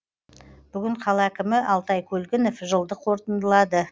бүгін қала әкімі алтай көлгінов жылды қорытындылады